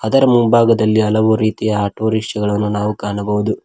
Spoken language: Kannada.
ಇದರ ಮುಂಭಾಗದಲ್ಲಿ ಹಲವಾರು ರೀತಿಯ ಆಟೋರಿಕ್ಷ ಗಳನ್ನು ನಾವು ಕಾಣಬಹುದು.